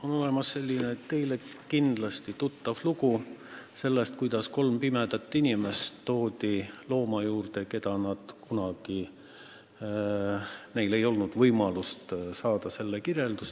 On olemas kõigile kindlasti tuttav lugu sellest, kuidas kolm pimedat inimest toodi looma juurde, keda nad kunagi polnud näinud ja keda neile polnud ka kirjeldatud.